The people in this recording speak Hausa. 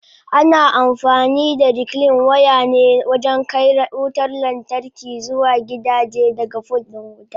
Ana amfani da reclean waya ne wajen kai wutar lantarki zuwa gidaje daga fol din wuta.